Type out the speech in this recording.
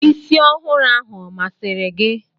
Isi ọhụrụ ahụ ọ masịrị gị?